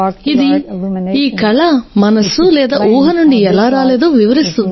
ఇది ఈ కళ మనస్సు లేదా ఊహ నుండి ఎలా రాలేదో వివరిస్తుంది